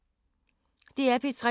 DR P3